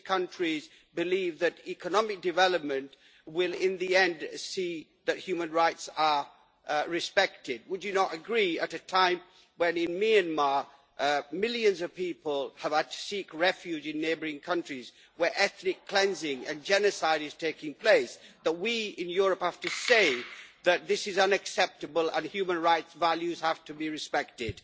These countries believe that economic development will, in the end, see that human rights are respected. Would you not agree, at a time when, in Myanmar, millions of people have had to seek refuge in neighbouring countries where ethnic cleansing and genocide is taking place, that we in Europe have to say that this is unacceptable and that human rights values have to be respected?